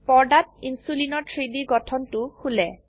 পৰ্দাত ইনসুলিনৰ 3ডি গঠনটো খোলে